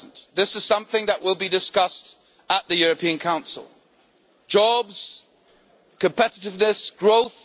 This is something that will be discussed at the European Council jobs, competitiveness, growth.